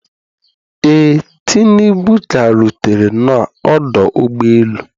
Ee, tinubu ka rutere na ọdụ ụgbọ elu